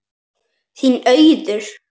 Þín Auður.